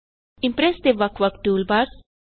Impress ਦੇ ਵੱਖ ਵੱਖ ਟੂਲਬਾਰਸ